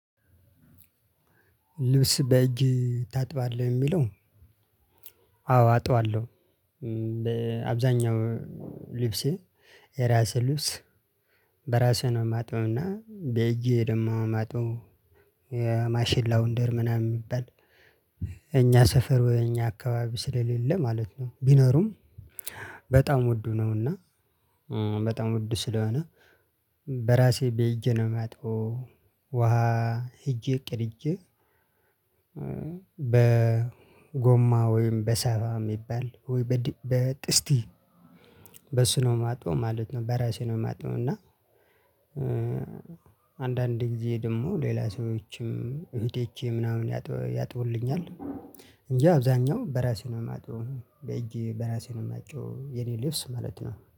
ልብስ በእጅ ታጥባለህ የሚለው? አዎ አጥባለሁ በአብዛኛው ልብሴ የራሴ ልብስ በራሴ ነው ማጥበው እና በእጄ ደግሞ ማጥበው። የማሽን ላውንደሪ ምናምን ሚባል እኛ ሰፈር ወይ እኛ አካባቢ ስለሌለ ማለት ነው። ቢኖሩም በጣም ውዱ ነውና። በጣም ውድ ስለሆነ በራሴ በእጄ ነው የማጥበው። ውሃ ሂጄ ቀድጄ። በጎማ ወይም በሳፋ የሚባል ወይ በጥስቲ በሱ ነው ማጥበው ማለት ነው በራሴ ነው የማጥበው። እና። አንዳንዴ ጊዜ ደግሞ ሌላ ሰዎችም እህቶቼ ምናምን ያጥቡልኛል። እንጂ አብዛኛው በራሴ ነው የማጥበው በእጅ በራሴ ነው የማጥበው። የኔ ልብስ ማለት ነው